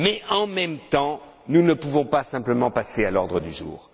Mais en même temps, nous ne pouvons pas simplement passer à l'ordre du jour.